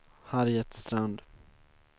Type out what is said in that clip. Harriet Strand